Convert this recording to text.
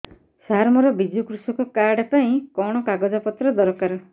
ସାର ମୋର ବିଜୁ କୃଷକ କାର୍ଡ ପାଇଁ କଣ କାଗଜ ପତ୍ର ଦରକାର